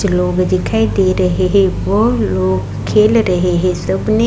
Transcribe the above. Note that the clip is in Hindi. कुछ लोग दिखाई दे रहे हैं वो लोग खेल रहे हैं। सबने --